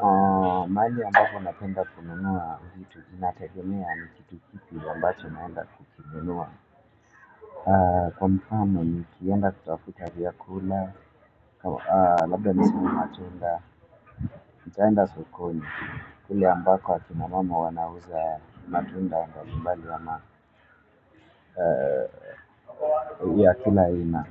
Kwa mali ambako napenda kununua vitu inategemea ni kitu kipi ambacho chenaenda kukinunua. Kwa mfano ni kienda kutafuta vyakula, labda nisimu matunda, nikaenda sokoni kule ambako akina mama wanauza matunda anda kubali ya kila aina.